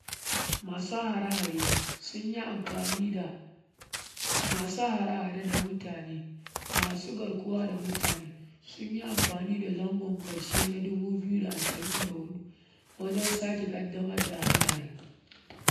Masu harehare sunyi ampani da asu harehare da mutane masu garkuwa da mutane sun yi amfani da zangon ƙarshe na dubu biyu da ashirin da hudu wajen sake ƙaddamar da hare-hare.